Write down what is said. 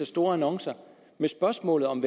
store annoncer med spørgsmålet om